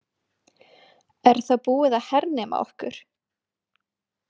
Er þá búið að hernema okkur?